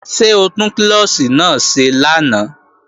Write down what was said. Ṣé o tún klọ́ọ̀ṣì náà ṣe lánàá?